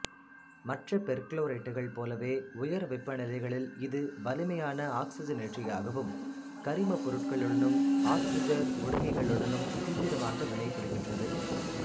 மற்ற பெர்குளோரேட்டுகள் போலவே உயர் வெப்பநிலைகளில் இது வலிமையான ஆக்சிசனேற்றியாகவும் கரிமப்பொருட்களுடனும் ஆக்சிசன் ஒடுக்கிகளுடனும் தீவிரமாக வினைபுரிகிறது